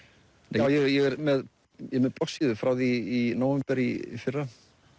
ég er með bloggsíðu frá því í nóvember í fyrra